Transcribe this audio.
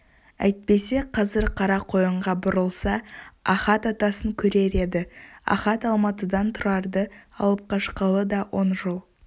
әйтпесе қазір қарақойынға бұрылса ахат атасын көрер еді ахат алматыдан тұрарды алып қашқалы да он жыл